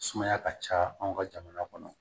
Sumaya ka ca anw ka jamana kɔnɔ